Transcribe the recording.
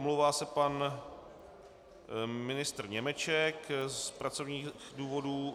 Omlouvá se pan ministr Němeček z pracovních důvodů.